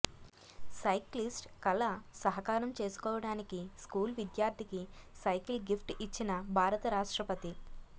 cyclist కల సహకారం చేసుకోవడానికి స్కూల్ విద్యార్థికి సైకిల్ గిఫ్ట్ ఇచ్చిన భారత రాష్ట్రపతి